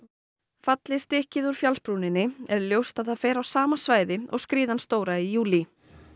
falli stykkið úr fjallsbrúninni er ljóst að það fer á sama svæði og skriðan stóra í júlí